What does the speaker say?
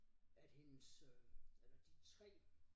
At hendes øh eller de 3